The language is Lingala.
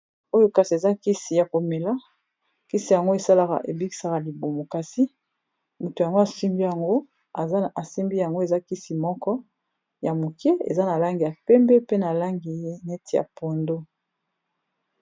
Oyo kasi eza nkisi ya komela nkisi yango esalaka ebikisaka libumo kasi moto yango asimbi yango eza esimbi yango eza kisi moko ya mokie eza na langi ya pembe pe na langi neti ya pondo.